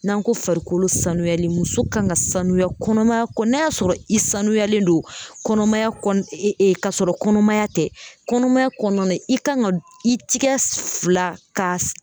N'an ko farikolo sanuyalen muso kan ka sanuya kɔnɔmaya kɔ n'a y'a sɔrɔ i sanuyalen don kɔnɔmaya kɔ e ka sɔrɔ kɔnɔmaya tɛ kɔnɔmaya kɔnɔna i kan ka i tigɛ fila ka